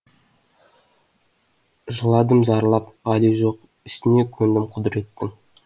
жыладым зарлап ғали жоқ ісіне көндім құдіреттің